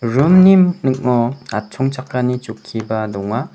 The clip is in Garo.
dringni ning·o atchongchakani chokkiba donga.